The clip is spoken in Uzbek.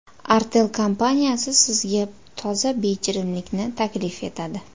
Artel kompaniyasi sizga toza bejirimlikni taklif etadi.